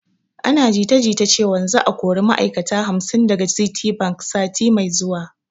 Ana jita jita cewan za a kori ma'ai'kata hamsin daga citibank sati mai zuwa